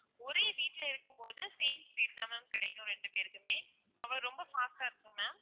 ஒரே வீட்டுல இருக்கும் போது same speed தான் ma'am கிடைக்கும் ரெண்டு பேருக்குமே அப்பறம் ரொம்ப fast ஆ இருக்கும் ma'am